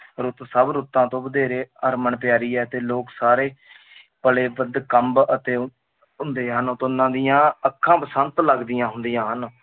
ਰੁੱਤ ਸਭ ਰੁੱਤਾਂ ਤੋਂ ਵਧੇਰੇ ਹਰਮਨ-ਪਿਆਰੀ ਹੈ ਤੇ ਲੋਕ ਸਾਰੇ ਕੰਬ ਅਤੇ ਹੁੰਦੇ ਹਨ, ਤਾਂ ਉਨ੍ਹਾਂ ਦੀਆਂ ਅੱਖਾਂ ਬਸੰਤ ਲੱਗਦੀਆਂ ਹੁੰਦੀਆਂ ਹਨ